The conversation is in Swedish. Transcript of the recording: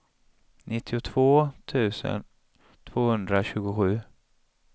nittiotvå tusen tvåhundratjugosju